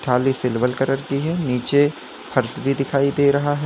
थाली silver colour की है नीचे फर्श भी दिखाई दे रहा है।